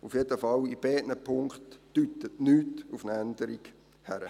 auf jeden Fall deutet in beiden Punkten nichts auf eine Änderung hin.